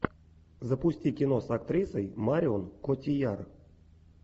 запусти кино с актрисой марион котийяр